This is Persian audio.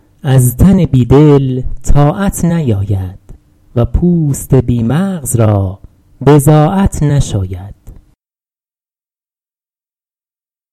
از تن بی دل طاعت نیاید و پوست بی مغز را بضاعت نشاید